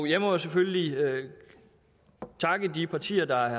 jeg må jo selvfølgelig takke de partier der